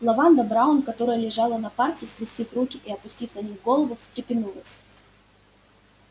лаванда браун которая лежала на парте скрестив руки и опустив на них голову встрепенулась